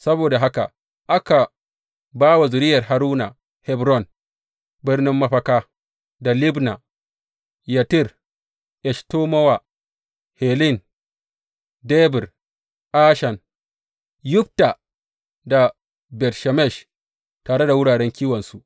Saboda haka aka ba wa zuriyar Haruna Hebron birnin mafaka, da Libna, Yattir Eshtemowa, Hilen, Debir, Ashan, Yutta da Bet Shemesh, tare da wuraren kiwonsu.